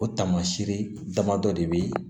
O taamasiyɛn damadɔ de be yen